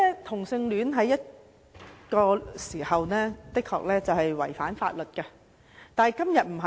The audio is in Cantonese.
同性戀曾幾何時的確是違反法律，但在今時今日不是。